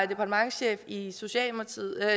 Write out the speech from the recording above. departementschef i socialministeriet